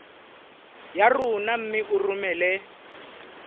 ya rona mme o romele